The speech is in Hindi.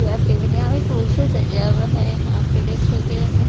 यहाँ में फूल से सजा हुआ है यहाँ पे डेस्क वगैरह में --